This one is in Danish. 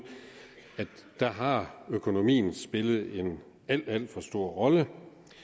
har økonomien spillet en alt alt for stor rolle